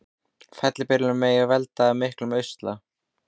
Fellibylurinn Megi veldur miklum usla